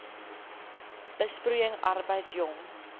besproeiing arbeid jong